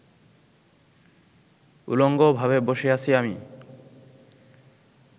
উলঙ্গভাবে বসে আছি আমি